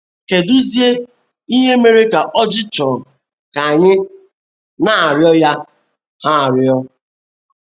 Kedụ zie ihe mere ka oji chọọ ka anyị na - arịọ ya ha arịọ?